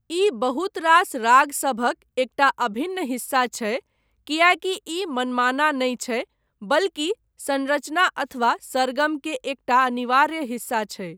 ई बहुत रास रागसभक एकटा अभिन्न हिस्सा छै, कियैकि ई मनमाना नहि छै, बल्कि संरचना अथवा सरगम के एकटा अनिवार्य हिस्सा छै।